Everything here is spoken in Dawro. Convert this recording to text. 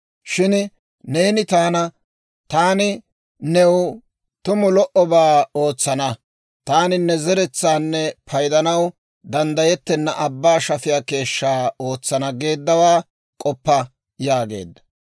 Shin neeni taana, ‹Taani new tumu lo"obaa ootsana; taani ne zeretsaanne paydanaw danddayettenna abbaa shafiyaa keeshshaa ootsana› geeddawaa k'oppa» yaageedda.